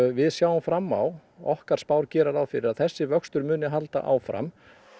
við sjáum fram á okkar spár gera ráð fyrir að þessi vöxtur muni halda áfram